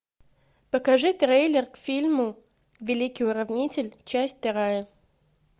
покажи трейлер к фильму великий уравнитель часть вторая